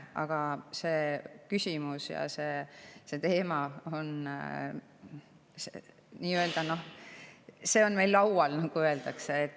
Aga see küsimus ja see teema on meil laual, nagu öeldakse.